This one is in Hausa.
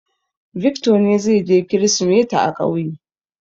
Victor ne zai je Kirsimeti a ƙauye.